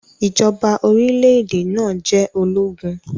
Ijọba orilẹ-ede naa jẹ ologun.